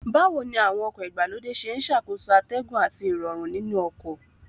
Báwo ni àwọn ọkọ̀ ìgbàlódé ṣe ń ṣàkóso atẹ́gùn àti Ìrọ̀rùn nínú ọkọ̀